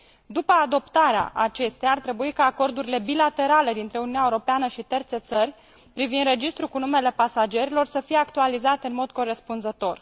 După adoptarea acesteia, ar trebui ca acordurile bilaterale dintre Uniunea Europeană și terțe țări privind registrul cu numele pasagerilor să fie actualizate în mod corespunzător.